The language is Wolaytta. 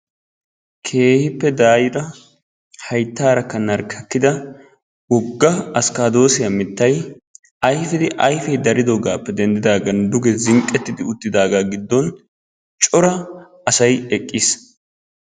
Keehippe daayyida hayttaara narkkakkida wogga afkkaaddosiya mittay ayfe ayfe daridoogappe denddidaagan duge zinqqettidaaga giddon cora asay eqqiis.